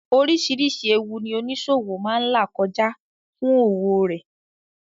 Oríṣìírísìí ẹwu ní oníṣòwọ̀ máa là kọjá fún òwò rẹ.